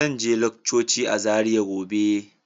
Zan je laccoci a Zaria gobe.